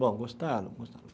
Bom, gostaram, gostaram.